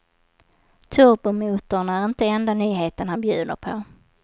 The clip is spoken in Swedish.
Turbomotorn är inte enda nyheten han bjuder på.